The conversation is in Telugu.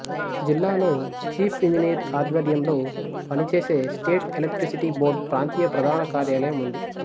జిల్లాలో చీఫ్ ఇంజినీర్ ఆద్జ్వర్యంలో పనిచేసే స్టేట్ ఎలెక్ట్రిసిటీ బోర్డ్ ప్రాంతీయ ప్రధాన కార్యాలయం ఉంది